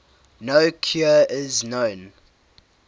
no cure is known